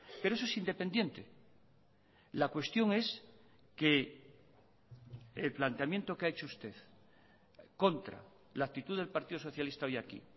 pero eso es independiente la cuestión es que el planteamiento que ha hecho usted contra la actitud del partido socialista hoy aquí